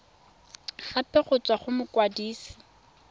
gape go tswa go mokwadise